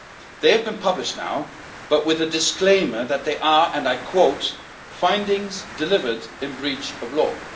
They have been published now, but with a disclaimer that they are, and I quote findings delivered in breach of